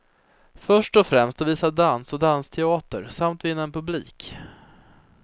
Först och främst att visa dans och dansteater samt vinna en publik.